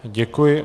Děkuji.